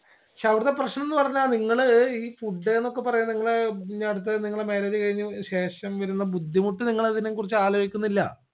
ക്ഷേ അവിടത്തെ പ്രശ്നംന്ന് പറഞ്ഞാ നിങ്ങള് ഇ food ന്നൊക്കെ പറഞ്ഞാ നിങ്ങള് പിന്നെ അടുത്തത് നിങ്ങളെ marriage കഴിഞ്ഞ ശേഷം വരുന്ന ബുദ്ധിമുട്ട് നിങ്ങളതിനെ കുറിച്ച് ആലോചിക്കുന്നില്ല